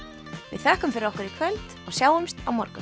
við þökkum fyrir okkur í kvöld og sjáumst á morgun